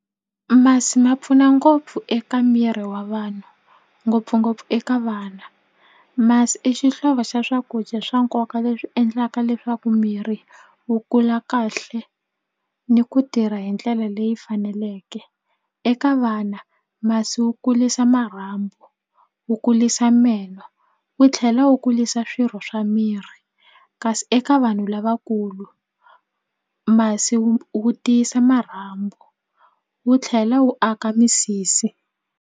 Masi ma pfuna ngopfu eka miri wa vanhu ngopfungopfu eka vana masi i xihlovo xa swakudya swa nkoka leswi endlaka leswaku miri wu kula kahle ni ku tirha hi ndlela leyi faneleke eka vana masi wu kulisa marhambu wu kulisa meno wu tlhela wu kulisa swirho swa miri kasi eka vanhu lavakulu masi wu wu tiyisa marhambu wu tlhela wu aka misisi.